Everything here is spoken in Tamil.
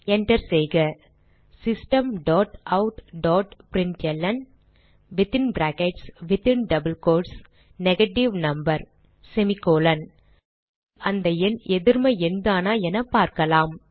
enter செய்க systemoutபிரின்ட்ல்ன் நெகேட்டிவ் நம்பர் முதலில் அந்த எண் எதிர்ம எண் தானா என பார்க்கலாம்